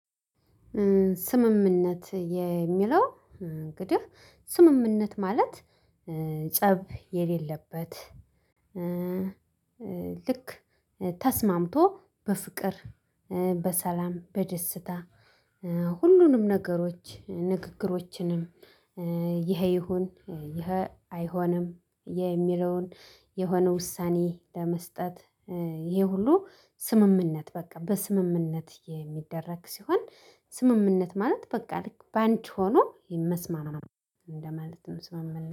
ስምምነት የሚለው እንግዲህ ስምምነት ማለት ፀብ የሌለበት። ልክ ተስማምቶ በፍቅር በሰላም በደስታ ሁሉንም ነገሮች ንግግሮችንም። ይሄ ይሁን ይሄ አይሆንም ይሄ የሚለውን የሆነ ውሳኔ ለመስጠት ይሄ ሁሉ ስምምነት በቃ በስምምነት የሚደረግ ሲሆን። ስምምነት ማለት በቃ ልክ በአንቺ ሆኖ መስማማት ለማለትም ስምምነት